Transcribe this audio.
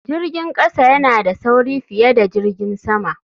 Jirgin kasa yana da sauri fiye da jirgin sama.